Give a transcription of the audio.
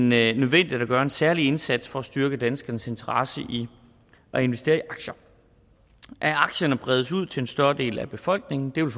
nødvendigt at gøre en særlig indsats for at styrke danskernes interesse i at investere i aktier at aktierne bredes ud til en større del af befolkningen vil